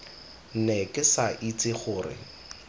ne ke sa itse gore